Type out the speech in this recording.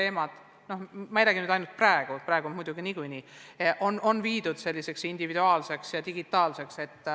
Ma ei räägi muidugi praegusest olukorrast, praegu on see kõik viidud individuaalsele ja digitaalsele tasandile.